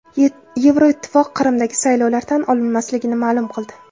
Yevroittifoq Qrimdagi saylovlar tan olinmasligini ma’lum qildi.